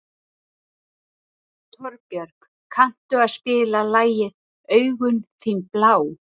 Torbjörg, kanntu að spila lagið „Augun þín blá“?